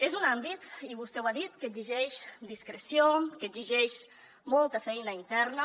és un àmbit i vostè ho ha dit que exigeix discreció que exigeix molta feina interna